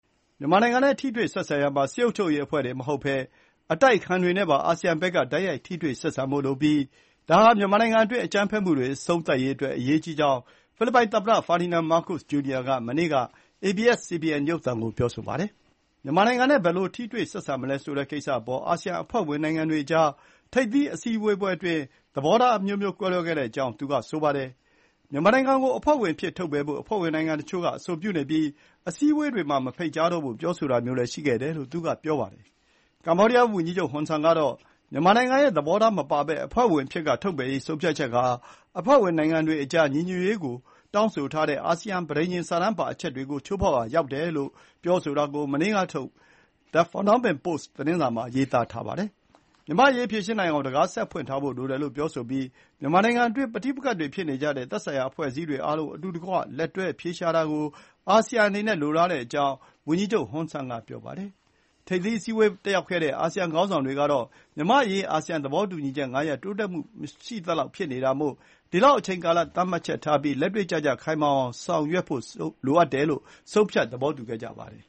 မြန်မာနိုင်ငံနဲ့ထိတွေ့ဆက်ဆံရာမှာ စစ်အုပ်ချုပ်ရေးအဖွဲ့တင်မဟုတ်ဘဲ အတိုက်အခံတွေနဲ့ပါ အာဆီယံဘက်က တိုက်ရိုက် ထိတွေ့ဆက်ဆံဖို့လိုပြီး ဒါဟာ မြန်မာနိုင်ငံအတွင်း အကြမ်းဖက်မှုတွေအဆုံးသတ်ရေးအတွက် အရေးကြီးတယ်လို့ မြင်ကြောင်း ဖိလစ်ပိုင်သမ္မတ Ferdinand Marcos Jr က မနေ့က ABS-CBS ရုပ်သံကို ပြောပါတယ်။ မြန်မာနိုင်ငံနဲ့ ဘယ်လို ထိတွေ့ဆက်ဆံမလဲ ဆိုတဲ့ကိစ္စအပေါ် အာဆီယံအဖွဲ့ဝင်နိုင်ငံတွေအကြား ထိပ်သီးအစည်းအဝေးအတွင်း သဘောထား ကွဲလွဲခဲ့တဲ့အကြောင်း လည်း သူက ပြောဆိုပါတယ်။ မြန်မာနိုင်ငံကို အဖွ့ဲဝင်အဖြစ်က ထုတ်ပယ်ဖို့ အဖွဲ့ဝင်နိုင်ငံတချို့က အဆိုပြုနေပြီး အစည်းအဝေးတွေမှာ မဖိတ်ကြားတော့ဖို့ ပြောဆိုတာမျိုးတွေလည်း ရှိတာပါ။ ကမ္ဘောဒီးယား ဝန်ကြီးချုပ်ဟွန်ဆန်ကတော့ မြန်မာနိုင်ငံရဲ့ သဘောထားမပါဘဲ အဖွဲ့ဝင်အဖြစ်က ထုတ်ပယ်ရေးဆုံးဖြတ်ချက်ဟာ အဖွဲ့ဝင်နိုင်ငံတွေအကြား ညီညွတ်ရေးကို တောင်းဆိုထားတဲ့ အာဆီယံ ပဋိညာဉ်စာတမ်းပါအချက်တွေကို ချိုးဖေါက်ရာရောက်တယ်လို့ ပြောဆိုတာကို မနေ့ထုတ် The Phnom Penh Post သတင်းစာမှာ ရေးသားပါတယ်။ မြန်မာ့အရေး ဖြေရှင်းနိုင်အောင် တံခါးဆက်ဖွင့်ထားဖို့ လိုတယ်လို့ ပြောဆိုပြီး မြန်မာနိုင်ငံအတွင်း ပဋိပက္ခဖြစ်နေကြတဲ့ သက်ဆိုင်ရာ အဖွဲ့အစည်းအားလုံး အတူတကွလက်တွဲ အဖြေရှာတာကို အာဆီယံအနေနဲ့ လိုလားတဲ့အကြောင်း ဝန်ကြီးချုပ် ဟွန်ဆန်က ပြောပါတယ်။ ထိပ်သီးအစည်းဝေးတက်ရောက်တဲ့ အာဆီယံခေါင်းဆောင်တွေကတော့ မြန်မာ့အရေး အာဆီယံ သဘောတူညီချက် ၅ ရပ် တိုးတက်မှုမရှိသလောက်ဖြစ်နေတာမို့ ဒီအတွက် အချိန်ကာလသတ်မှတ်ချက်ထားပြီး လက်တွ့ကျကျ ခိုင်ခိုင်မာမာဖြစ်အောင် ဆောင်ရွက်ဖို့ လိုအပ်တယ်လို့ ဆုံးဖြတ် သဘောတူခဲ့ကြပါတယ်